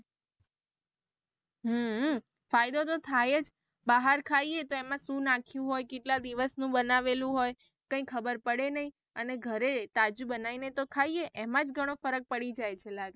હમ ફાયદો તો થાય બહાર ખાઈએ તો એમાં શું નાખિયું હોય કેટલા દિવસ નું બનાવેલું હોય કઈ ખબર પડે નહિ અને ઘરે તાજું બનાઈ ને તો ખાઈએ એમા જ ગણો ફરક પડી જાય છે લાગે.